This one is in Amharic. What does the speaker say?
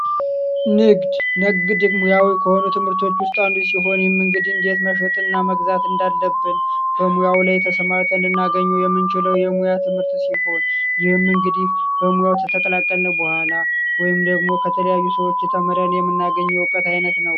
ንግድ ንግድ ሙያዊ ከሆኑ ትምህርቶች ውስጥ መሸጥ እና መግዛት እንዳለብን በሙያው ላይ ተሰማ ልናገኙ የምንችለው የሙያ ትምህርት ሲሆን እንግዲህ በሙያው ተቀላቀለ በኋላ ወይም ደግሞ ከተለያዩ ሰዎች የተናገኙት አይነት ነው